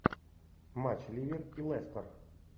матч ливер и лестер